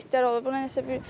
Burda nə qədər itlər olur.